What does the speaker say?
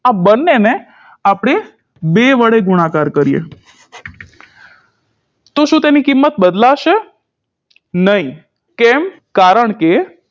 આ બંનેને આપણે બે વડે ગુણાકાર કરીએ તો શું તેની કિંમત બદલાશે નઇ કેમ કારણકે